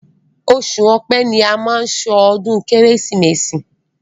Oṣù ọpẹ́ ni a má ń ṣọdún kérésìmesì.